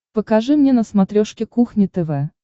покажи мне на смотрешке кухня тв